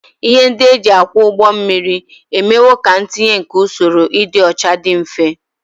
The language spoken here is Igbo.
Ihe ndị e ji akwọ ụgbọ mmiri emewo ka ntinye nke usoro ịdị ọcha dị mfe